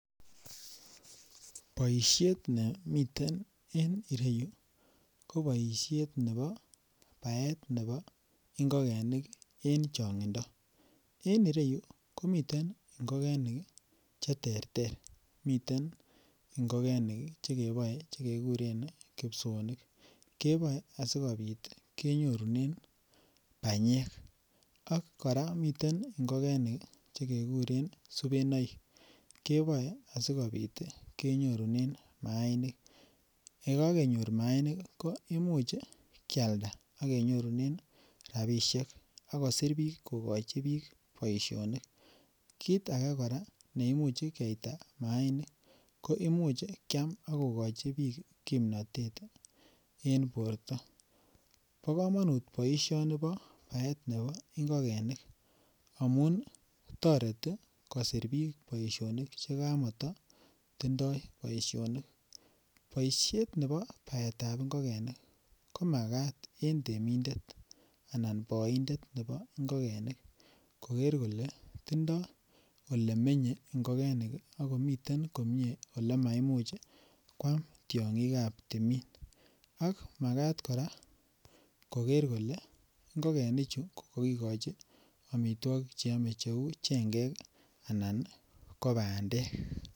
Boisiet ne miten en ireyu ko boisiet nebo baet nebo ingogenik en chongindo. En ireyu komiten ingogenik cheterter, miten ngogenik chekeboe che keguren kipsoonik. Koboe asigopit kenyorunen banyek ak kora miten ingogenik che keguren subenoik. Koboe asigopit kenyorunen maanik. Ye kakenyor maanik ko imuch kialda ak kenyorunen rapisiek ak kosir biik kokochi biik boisionik. Kit age kora neimuch keita maanik ko imuch kyam ak kokochi biik kimnatet en borto. Bo kamanut boisioni bo baet nebo ingogenik amun toreti kosir biik boisionik chekamatatindoi boisionik. Boisiet nebo baetab ingogenik ko magat en temindet anan boindetab ingogenik koger kole tindo olemenye ingogenik ak kotindo olemaimuch kwam tiongikab timin. Ak magat kora kogere kole ingogenichu ko kakikochi amitwogik che ame cheu chengek anan ko bandek.